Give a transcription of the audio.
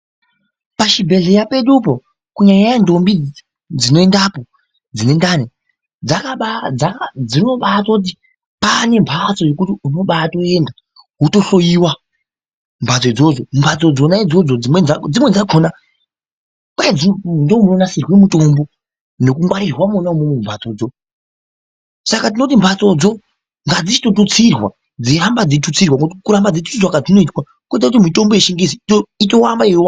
Pachibhedhleya pedupo kunyanyanyanya nthombi dzinoendapo dzine ndani dzinobatoti pane mphatso yekuti unobatoenda wotofoyiwa mumphatso idzodzo. Mphatso dzona idzodzo dzimweni dzakona kwai ndimo munonasirwa mutombo nokungwarirwa mwona imwomwo mumphatsodzo. Saka tinoti mphatsodzo ngadzichitotutsirwa dzeiramba dzeitutsirwa. Ngokuti kuramba dzeitusirwa kwadzinoita koita kuti mitombo yechingezi itoramba yeiwanda.